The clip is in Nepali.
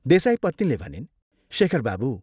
देसाईपत्नीले भनिन्, "शेखर बाबू!